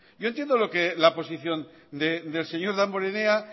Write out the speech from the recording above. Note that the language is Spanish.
yo entiendo la posición del señor damborenea